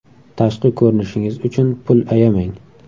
Tashqi ko‘rinishingiz uchun pul ayamang.